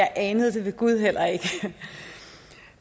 anede jeg ved gud heller ikke